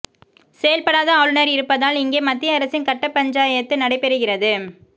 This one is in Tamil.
செயல்படாத ஆளுநர் இருப்பதால் இங்கே மத்திய அரசின் கட்டப் பஞ்சாயத்து நடைபெறுகிறது